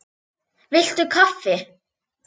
Viltu kaffi?